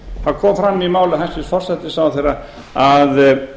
það kom fram í máli forsætisráðherra að